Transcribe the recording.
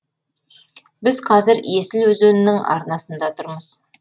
біз қазір есіл өзенінің арнасында тұрмыз